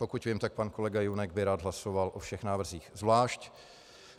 Pokud vím, tak pan kolega Junek by rád hlasoval o všech návrzích zvlášť.